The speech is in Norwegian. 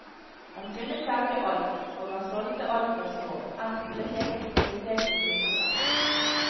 Han kunne selge alt, og han solgte alt fra små, enkle ting til kompliserte knuseverk.